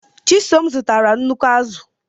Chisom zụtara nnukwu azụ̀.